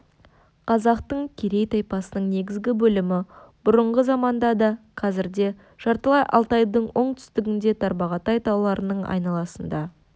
қазақтың керей тайпасының негізгі бөлімі бұрынғы заманда да қазір де жартылай алтайдың оңтүстігінде тарбағатай тауларының айналасында